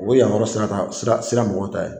O ye yamaruya sira ta sira sira mɔgɔw ta ye.